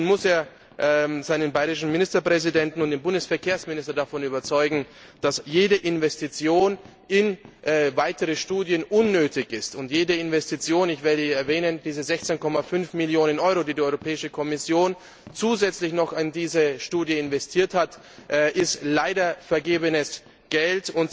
Nun muss er seinen bayrischen Ministerpräsidenten und den Bundesverkehrsminister davon überzeugen, dass jede Investition in weitere Studien unnötig ist, und jede Investition ich erwähne hier diese 16,5 Millionen Euro, die die Kommission zusätzlich noch in diese Studie investiert hat ist leider vergebenes Geld.